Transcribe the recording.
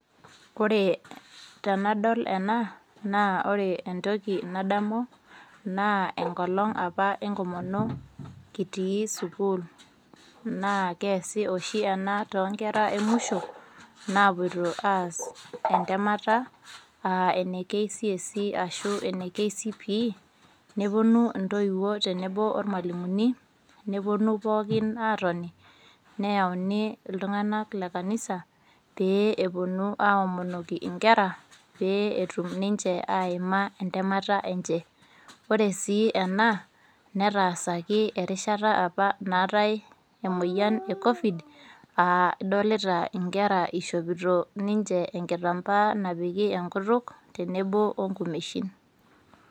Ore tenadol ena naa ore entoki nadamu naa enkolong apa enkomono kitii sukuul . Naa keasi oshi ena too nkera emwisho napoito entemata aa ene KCSE ashu ene KCPE , neponu intoiwuo tenebo ormwalimuni, neponu pookin atoni ,neyauni iltunganak le kanisa pee eponu aaomonoki inkera pee etum ninche aima entemata enche. Ore sii ena netaasaki erishata apa naatae emoyian e covid ,aa idolita inkera ishopita ninche enkitampaa napiki enkutuk tenebo onkumeshin.